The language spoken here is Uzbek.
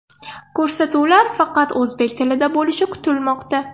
Ko‘rsatuvlar faqat o‘zbek tilida bo‘lishi kutilmoqda.